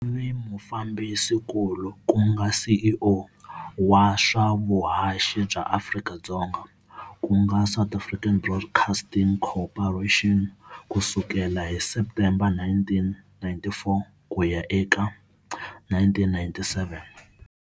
U ve mufambisinkulu ku nga CEO wa swa vuhaxi bya Afrika-Dzonga ku nga South African Broadcasting Corporation ku sukela hi Septembere 1994 ku ya eka 1997.